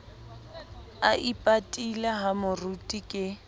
a ipatile ha moruti ke